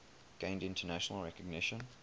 gained international recognition